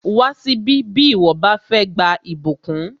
Wá síbí bí ìwọ bá fẹ́ gba ìbùkún!